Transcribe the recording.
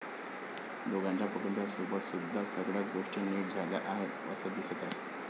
दोघांच्या कुटुंबासोबत सुद्धा सगळ्या गोष्टी नीट झाल्या आहेत असं दिसत आहे.